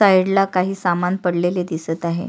साईडला काही समान पडलेले दिसत आहे.